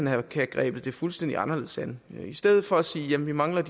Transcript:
have grebet det fuldstændig anderledes an i stedet for at sige at vi mangler at